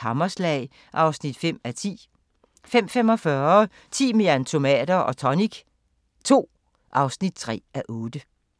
Hammerslag (5:10)* 05:45: Timian, tonic og tomater II (3:8)